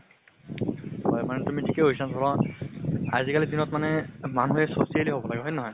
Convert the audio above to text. হয় মানে তুমি থিকে কৈছা ধৰা আজি কালি দিনত মানে মানুহে socially হব লাগে, হয় নে নহয়?